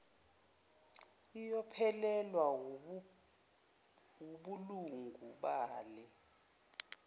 iyophelelwa wubulungu bale